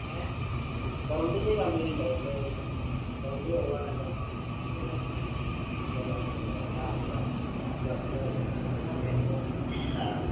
എങ്ങനെ ഇല്ലല്ലോ ഓക്കേയ് അല്ലേ ഇപ്പൊ